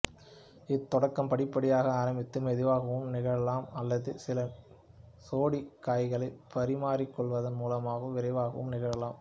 இத்தொடக்கம் படிப்படியாக ஆரம்பித்து மெதுவாகவும் நிகழலாம் அல்லது சில சோடி காய்களை பரிமாறிக் கொள்வதன் மூலமாக விரைவாகவும் நிகழலாம்